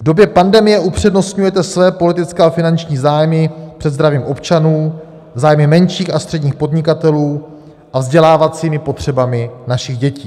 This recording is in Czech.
V době pandemie upřednostňujete své politické a finanční zájmy před zdravím občanů, zájmy menších a středních podnikatelů a vzdělávacími potřebami našich dětí.